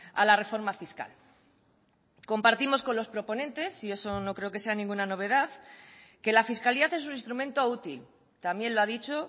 a la reforma fiscal compartimos con los proponentes y eso no creo que sea ninguna novedad que la fiscalidad es un instrumento útil también lo ha dicho